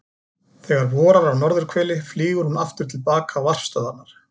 Þegar vorar á norðurhveli flýgur hún aftur til baka á varpstöðvarnar.